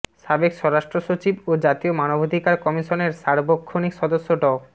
সাবেক স্বরাষ্ট্র সচিব ও জাতীয় মানবাধিকার কমিশনের সার্বক্ষণিক সদস্য ড